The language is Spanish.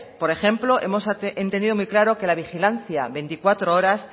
por ejemplo hemos entendido muy claro que la vigilancia veinticuatro horas